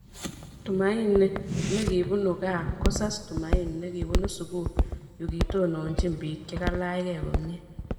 tumaini ne kibunu Kaa kosas tumaini ne kibunu sugul yu kitononchini bik che kilachgee komye